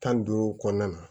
Tan ni duuru kɔnɔna na